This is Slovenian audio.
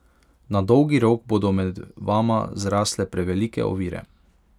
Na dolgi rok bodo med vama zrasle prevelike ovire.